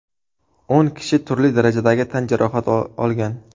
O‘n kishi turli darajadagi tan jarohati olgan.